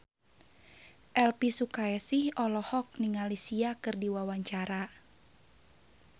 Elvy Sukaesih olohok ningali Sia keur diwawancara